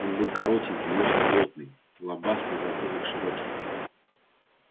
он был коротенький но очень плотный лобастый затылок широкий